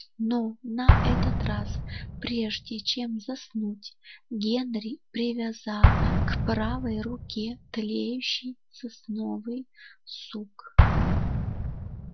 но на этот раз прежде чем заснуть генри привязал к правой руке тлеющий сосновый сук